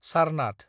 Sarnath